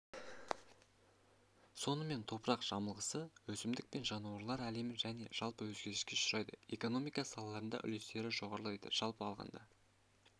сонымен топырақ жамылғысы өсімдік пен жануарлар әлемі және жалпы өзгеріске ұшырайды экономика салаларында үлестері жоғарылайды жалпы алғанда